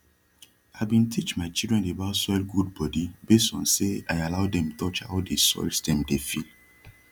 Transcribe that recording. i bin teach my children about soil gud body base on say i allow dem touch how de soils dem dey feel